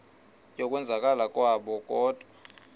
yokwenzakala kwabo kodwa